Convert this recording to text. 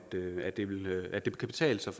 det kan betale sig